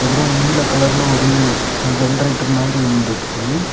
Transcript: அப்புறம் நீல கலர்ல ஒரு ஜெனரேட்டர் மாதிரி ஒன்னு இருக்கு.